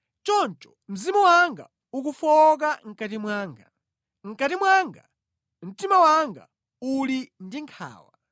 Choncho mzimu wanga ukufowoka mʼkati mwanga; mʼkati mwanga, mtima wanga uli ndi nkhawa.